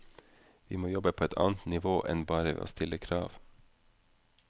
Vi må jobbe på et annet nivå enn bare ved å stille krav.